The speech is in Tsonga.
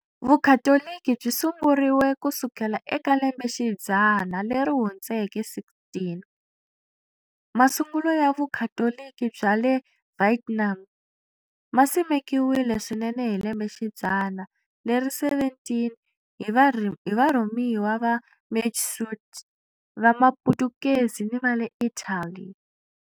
Vukhatoliki byi sunguriwe ku sukela eka lembexidzana leri hundzeke 16, Masungulo ya Vukhatoliki bya le Vietnam ma simekiwile swinene hi lembexidzana leri 17 hi varhumiwa va Majesuit va Maputukezi ni va le Italy.